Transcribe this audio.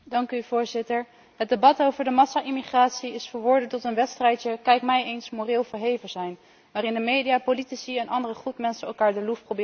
Het debat over de massa immigratie is verworden tot een wedstrijdje kijk mij eens moreel verheven zijn, waarin de media, politici en andere groepen mensen elkaar de loef proberen af te steken.